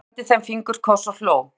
Áslaug sendi þeim fingurkoss og hló.